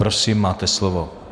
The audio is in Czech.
Prosím, máte slovo.